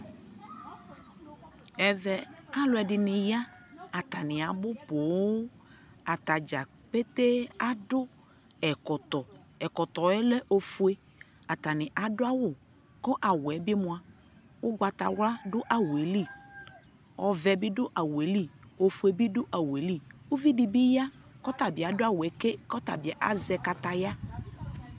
ɛvɛ alʋɛdini ya, atani abʋ pɔɔm, atagya pɛtɛɛ adʋ ɛkɔtɔ, ɛkɔtɔɛ lɛ ɔƒʋɛ, atani adʋ awʋ kʋ awʋɛ bi mʋa ɔgbatawla dʋ awʋɛli ,ɔvɛ bi dʋ awʋɛli, ɔƒʋɛ bi dʋ awʋɛli, ʋvi dibi ya kʋ ɔtabi adʋawʋɛ kɛ kʋazɛkataya